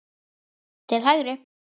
til hægri